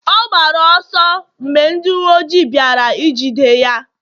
ọ gbara ọsọ mgbe ndị uwe ojii bịara ijide ya?